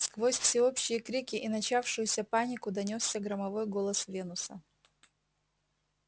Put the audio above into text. сквозь всеобщие крики и начавшуюся панику донёсся громовой голос венуса